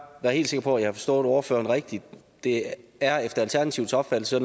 være helt sikker på at jeg forstod ordføreren rigtigt det er efter alternativets opfattelse